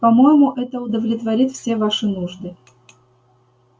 по-моему это удовлетворит все ваши нужды